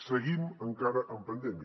seguim encara en pandèmia